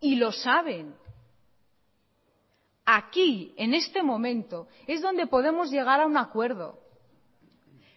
y lo saben aquí en este momento es donde podemos llegar a un acuerdo